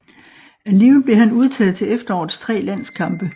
Alligevel blev han udtaget til efterårets tre landskampe